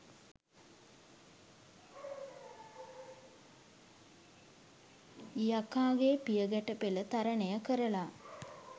යකාගේ පියගැටපෙල තරණය කරලා